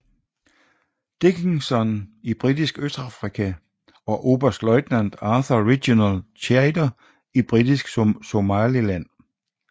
Dickinson i Britisk Østafrika og oberstløjtnant Arthur Reginald Chater i Britisk Somaliland